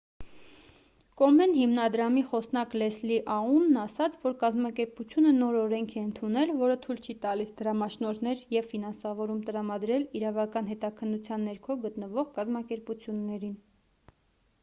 կոմեն հիմնադրամի խոսնակ լեսլի աունն ասաց որ կազմակերպությունը նոր օրենք է ընդունել որը թույլ չի տալիս դրամաշնորհներ և ֆինանսավորում տրամադրել իրավական հետաքննության ներքո գտնվող կազմակերպություններին